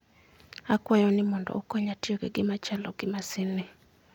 Akwayou ni mondo ukonya tiyo gi gima chalo gi masinni.